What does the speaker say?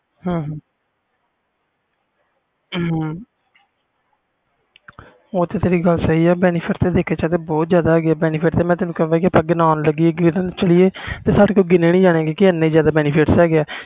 ਉਹ ਤੇ ਤੇਰੀ ਗੱਲ ਸਹੀ benefit ਦੇਖਿਆ ਜਾਵੇ ਤੇ ਬਹੁਤ ਜਿਆਦਾ benefits ਜੇ ਗਿਣਨ ਲੱਗੀਏ ਤੇ ਗਿਣੇ ਨਹੀਂ ਜਾਣੇ